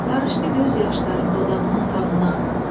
Qarışdı göz yaşlarım dodağımın qanına.